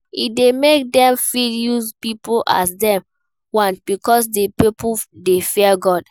E de make dem fit use pipo as dem want because di pipo de fear God